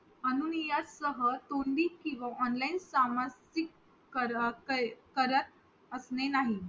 अनुनयासह किंवा online सामान करत असणे नाही